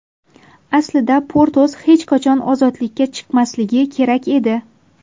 Aslida Potros hech qachon ozodlikka chiqmasligi kerak edi.